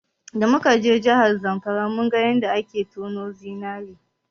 Da muka je jihar Zamfara, mun ga yadda ake tono zinari.